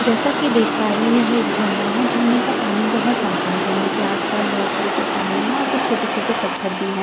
जैसा कि देख पा रही हूं यहां एक झरना है झरने का पानी बहुत साफ है झरने के आसपास बहुत सारी चट्टानें है और कुछ छोटे-छोटे पत्थर भी हैं झरना के आस।